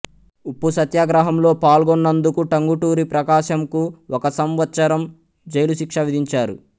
ఉప్పు సత్యాగ్రహంలో పాల్గొన్నందుకు టంగుటూరి ప్రకాశంకు ఒక సంవత్సరం జైలుశిక్ష విధించారు